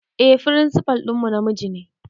Eh firinsifal ɗinmu namiji ne